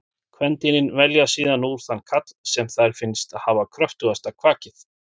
Kvendýrin velja síðan úr þann karl sem þeim finnst hafa kröftugasta kvakið.